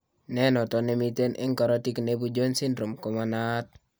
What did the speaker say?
Ne noton, ne miten eng korotiik ne ibu Jones syndrome ko ma naat.